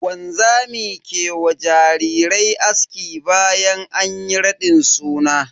Wanzami ke wa jarirai aski bayan anyi raɗin suna.